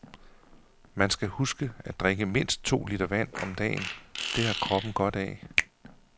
Man skal huske at drikke mindst to liter vand om dagen, det har kroppen godt af.